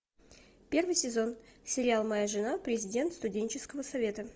первый сезон сериал моя жена президент студенческого совета